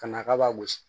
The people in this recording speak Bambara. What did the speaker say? Ka na k'a b'a gosi